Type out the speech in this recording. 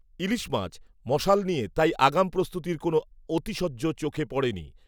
ইলিশ মাছ, মশাল নিয়ে, তাই আগাম প্রস্তুতীর কোনও অতিশয্য চোখে পড়েনি